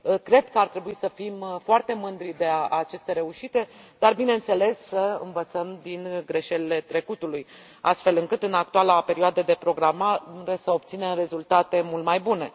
Cred că ar trebui să fim foarte mândri de aceste reușite, dar, bineînțeles, să învățăm din greșelile trecutului, astfel încât în actuala perioadă de programare să obținem rezultate mult mai bune.